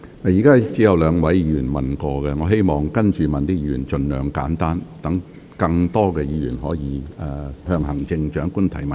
目前只有兩位議員完成提問，請稍後提問的議員盡量精簡，讓更多議員可以向行政長官提問。